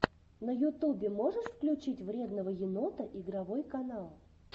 на ютубе можешь включить вредного енота игровой канал